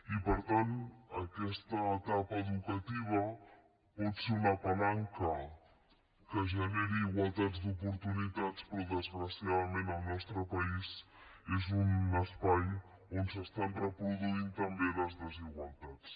i per tant aquesta etapa educativa pot ser una palanca que generi igualtats d’oportunitats però desgraciadament al nostre país és un espai on s’estan reproduint també les desigualtats